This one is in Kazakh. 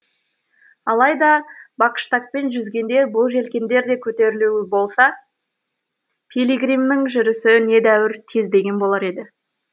алайда бакштагпен жүзгенде бұл желкендер де көтерулі болса пилигримнің жүрісі недәуір тездеген болар еді